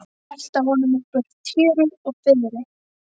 Velta honum upp úr tjöru og fiðri!